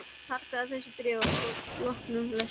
Fargaðu þessu bréfi að loknum lestri.